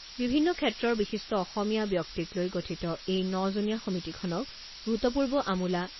বিভিন্ন ক্ষেত্ৰৰ বিশিষ্ট অসমীয়া ব্যক্তিক লৈ গঠিত এই ন জনীয়া সমিতিখনক ভূতপূৰ্ব আমোলা